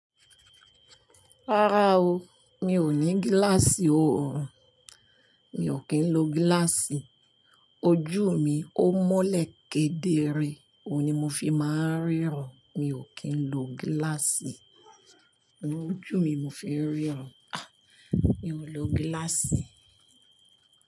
Rárá o, mi ò ní gíláàsì oòrùn, mi ò kí ń lo gíláàsì. Ojú mi ó mọ́lẹ̀ kedere, òun ni mo fi máa ń ríran, mi ò kí ń lo gíláàsì. Ojú mi n mo fi ń ríran, a! Mi ò lo gíláàsì.